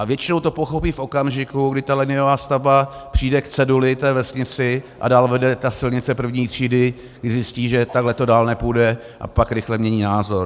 A většinou to pochopí v okamžiku, kdy ta liniová stavba přijde k ceduli té vesnice a dál vede ta silnice první třídy, kdy zjistí, že takhle to dál nepůjde, a pak rychle mění názor.